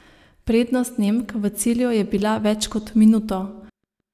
Prednost Nemk v cilju je bila več kot minuto.